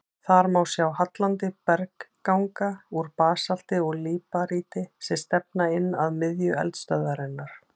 Þar má sjá hallandi bergganga úr basalti og líparíti sem stefna inn að miðju eldstöðvarinnar.